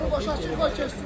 Yolu boş qoy keçsin.